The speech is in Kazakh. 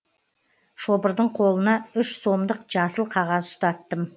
шопырдың қолына үш сомдық жасыл қағаз ұстаттым